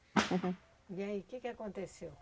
E aí, o que que aconteceu?